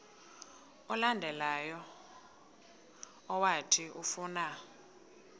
olandelayo owathi ufuna